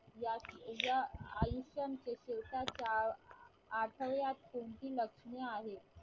या या आयुष्यात स्वतःच्या आढळल्यास कोणती लक्षणे आहेत